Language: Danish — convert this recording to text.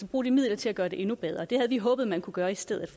bruge de midler til at gøre den endnu bedre det havde vi håbet man kunne gøre i stedet